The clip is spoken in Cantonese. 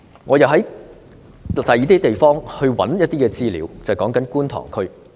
我曾經尋找其他地方的資料，例如觀塘區。